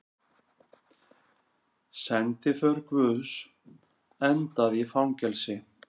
Sendiför guðs endaði í fangelsi